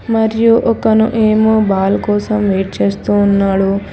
మరియు ఒకను ఏమో బాల్ కోసం వెయిట్ చేస్తూ ఉన్నాడు.